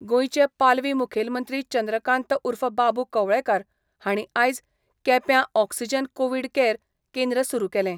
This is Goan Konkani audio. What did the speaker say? गोंयचे पालवी मुखेलमंत्री चंद्रकांत उर्फ बाबू कवळेकार हाणी आयज केप्या ऑक्सीजन कोविड केयर केंद्र सुरू केले.